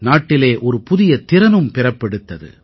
நாட்டிலே ஒரு புதிய திறனும் பிறப்பெடுத்தது